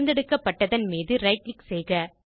தேர்ந்தெடுத்ததன் மீது right click செய்க